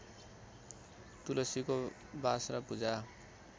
तुलसीको बास र पूजा